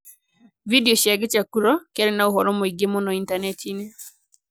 Video cia kichakuro kĩarĩ na ũhoro mũingĩ mũno Intaneti-inĩ